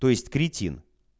то есть кретин